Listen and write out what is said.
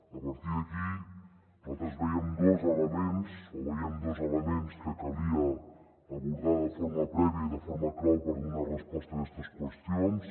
a partir d’aquí nosaltres vèiem dos elements que calia abordar de forma prèvia i de forma clau per donar resposta a aquestes qüestions